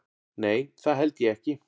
Nei það held ég ekki.